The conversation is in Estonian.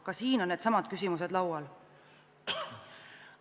Ka siin on needsamad küsimused laual.